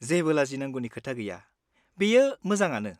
जेबो लाजिनांगौनि खोथा गैया, बेयो मोजाङानो।